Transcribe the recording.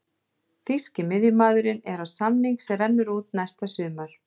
Þýski miðjumaðurinn er á samning sem rennur út næsta sumar.